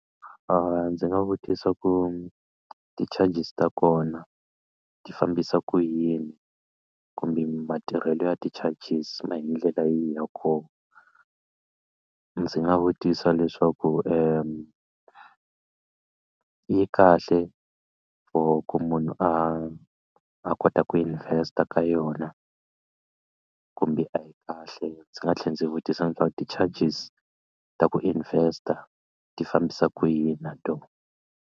Ndzi nga vutisa ku ti-charges ta kona ti fambisa ku yini kumbe matirhelo ya ti-charges ma hi ndlela yihi ya kona a ndzi nga vutisa leswaku yi kahle for ku munhu a a kota ku invest-a ka yona kumbe a yi kahle ndzi nga tlhela ndzi vutisa leswaku ti-charges ta ku invest-a ti fambisa kwihi na tona.